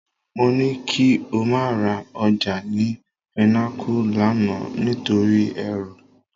Mo ní kí o má ra ọjà ni Pinnacle lánàá nítorí èrò